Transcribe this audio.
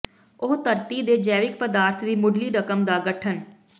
ਉਹ ਧਰਤੀ ਦੇ ਜੈਵਿਕ ਪਦਾਰਥ ਦੀ ਮੁੱਢਲੀ ਰਕਮ ਦਾ ਗਠਨ